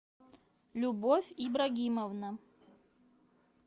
любовь ибрагимовна